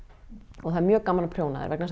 og það er mjög gaman að prjóna þær vegna þess